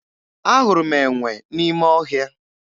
Ahụrụ m enwe n'ime ọhịa